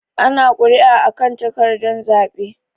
Ana kuri'a a kan takardan zaɓe.